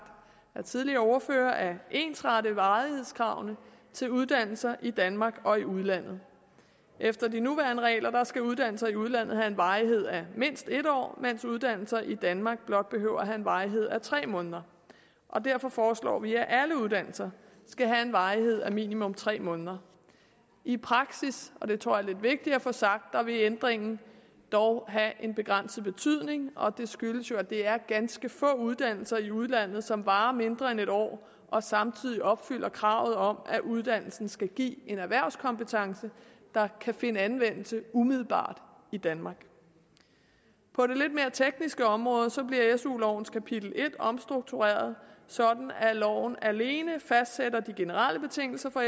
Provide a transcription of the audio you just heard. af tidligere ordførere at ensrette varighedskravene til uddannelser i danmark og i udlandet efter de nuværende regler skal uddannelser i udlandet have en varighed af mindst en år mens uddannelser i danmark blot behøver at have en varighed af tre måneder og derfor foreslår vi at alle uddannelser skal have en varighed af minimum tre måneder i praksis og det tror jeg er lidt vigtigt at få sagt vil ændringen dog have en begrænset betydning og det skyldes jo at det er ganske få uddannelser i udlandet som varer mindre end en år og samtidig opfylder kravet om at uddannelsen skal give en erhvervskompetence der kan finde anvendelse umiddelbart i danmark på det lidt mere tekniske områder bliver su lovens kapitel en omstruktureret sådan at loven alene fastsætter de generelle betingelser for